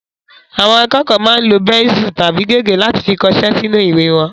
Àwọn akẹ́kọ̀ọ́ máa ń lo bẹ́nsù tàbí gègé láti fi kọṣẹ́ sínú ìwé wọn